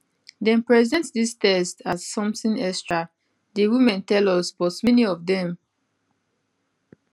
dem present dis tests as something extra di women tell us but many of dem